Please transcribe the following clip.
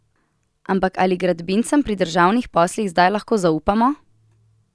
Ampak ali gradbincem pri državnih poslih zdaj lahko zaupamo?